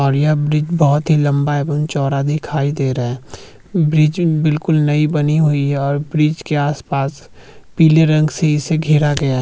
और यह ब्रिज बहौत ही लम्बा है बहौत ही चौड़ा दिखाई दे रहा है ब्रिज बिलकुल नई बनी हुई है और ब्रिज के आस-पास पिले रंग से इसे घेरा गया है।